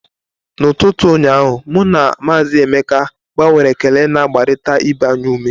N'ụtụtụ ụnyaahụ, mụ na Maazị Emeka gbanwere ekele na-agbarịta ibe anyị ume.